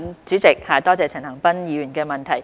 主席，多謝陳恒鑌議員的補充質詢。